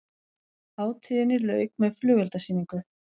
Hátíðinni lauk með flugeldasýningu